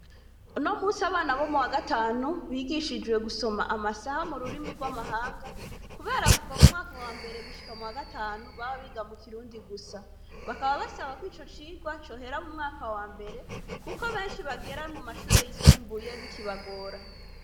Unomusi abana bo m'uwagatanu bigishijwe gusoma amasaha m'ururimi rw'amahanga kubera kuva m'uwambere gushika m'uwagatanu baba biga mukirundi gusa. Bakaba basaba kw'icocigwa cohera m'umwaka wambere kuko benshi bagera mumashure yisumbuye bikibagora.